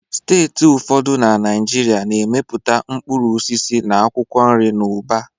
Steeti ụfọdụ na Naịjirịa na-amịpụta mkpụrụ osisi na akwụkwọ nri n'ụba